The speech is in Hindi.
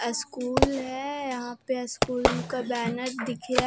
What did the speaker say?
स्कूल है यहां पर स्कूल का बैनर दिख गया--